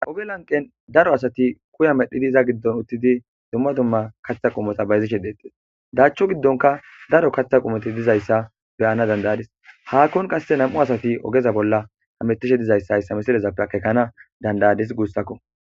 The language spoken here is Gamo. Aube lanqen daro asati kuya medhidi iza giddon uttidi dumma dumma kathta qumota bayzishe deetees daachcho giddonka daro kaththa qumoti dizayssa beyana dandayadis haakkon kasse nam7u asati ogeza bolla hametishe dizayssa hayssa misilezappe akekana dandayadis guustakko